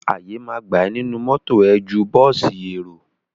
Àyè ma gbà ẹ nínú mọ́tọ̀ ẹ ju bọ́ọ̀sì èrò.